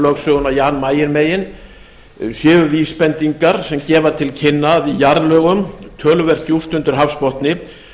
lögsöguna jan mayen megin séu vísbendingar sem gefa til kynna að í jarðlögum töluvert djúpt undir hafsbotni